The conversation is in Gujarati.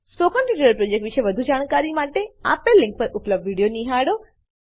સ્પોકન ટ્યુટોરીયલ પ્રોજેક્ટ વિશે વધુ જાણકારી માટે આપેલ લીંક પર ઉપલબ્ધ વિડીયો નિહાળો